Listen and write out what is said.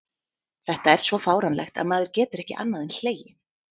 Þetta er svo fáránlegt að maður getur ekki annað en hlegið.